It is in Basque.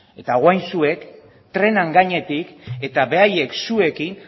eta orain zuek trenaren gaietik eta beraiek zuekin